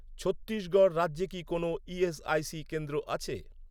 ছত্তিশগড় রাজ্যে কি কোনও ইএসআইসি কেন্দ্র আছে?